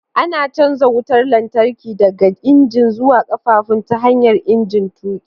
Ana canja wutar lantarki daga injin zuwa ƙafafun ta hanyar injin tuƙi.